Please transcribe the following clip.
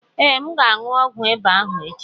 Ee, M ga-aṅu ọgwụ ịba ahụ echi.